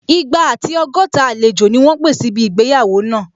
Igba àti ọgọ́ta àlejò ni wọ́n pé síbi ìgbéyàwó náà